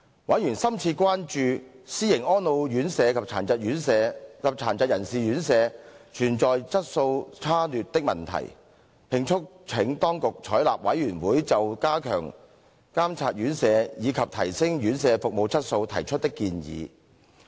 委員深切關注私營安老院舍及殘疾人士院舍存在質素差劣的問題，並促請當局採納事務委員會就加強監察院舍，以及提升院舍服務質素提出的建議。